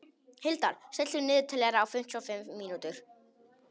Hildar, stilltu niðurteljara á fimmtíu og fimm mínútur.